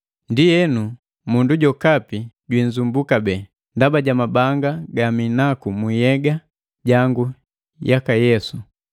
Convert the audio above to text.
Ndienu, mundu jokapi jwinzumbua kabee, ndaba ja mabanga gaminaku muyega jangu yaka Yesu.